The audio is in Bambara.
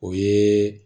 O ye